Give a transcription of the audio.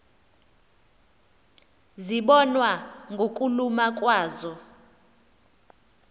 zibonwa ngokuluma kwazo